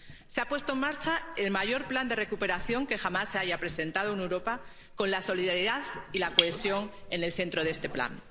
Se ha puesto en marcha el mayor plan de recuperación que jamás se haya presentado en Europa, con la solidaridad y la cohesión en el centro de este plan.